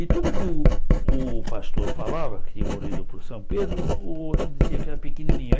E tudo que o o pastor falava, que tinha morrido por São Pedro, o outro dizia que era pequenininho. Aí